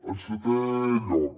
en setè lloc